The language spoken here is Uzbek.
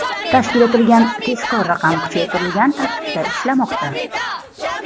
Tashkil etilgan tezkor raqam kuchaytirilgan tartibda ishlamoqda.